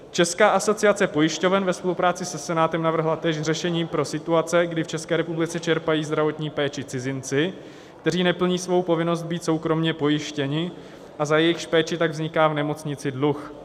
Česká asociace pojišťoven ve spolupráci se Senátem navrhla též řešení pro situace, kdy v České republice čerpají zdravotní péči cizinci, kteří neplní svou povinnost být soukromě pojištěni a za jejichž péči tak vzniká v nemocnici dluh.